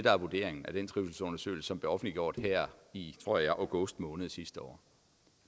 er vurderingen i den trivselsundersøgelse der blev offentliggjort i tror jeg august måned sidste år